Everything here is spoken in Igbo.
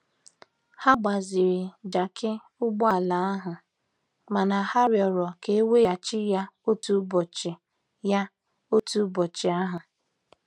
Ha gbaziri jakị ụgbọ ala ahụ mana ha rịọrọ ka e weghachi ya otu ụbọchị ya otu ụbọchị ahụ.